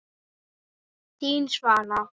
Þín, Svala.